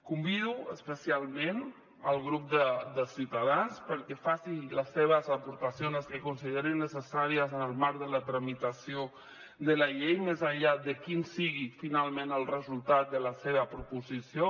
convido especialment el grup de ciutadans perquè facin les seves aportacions les que considerin necessàries en el marc de la tramitació de la llei més enllà de quin sigui finalment el resultat de la seva proposició